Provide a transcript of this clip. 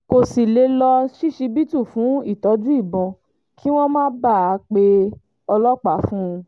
kò sì lè lọ ṣíṣíbítù fún ìtọ́jú ìbọn kí wọ́n má bàa pe ọlọ́pàá fún un